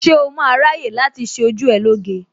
Ṣé o máa ráyè láti ṣé ojú ẹ lóge?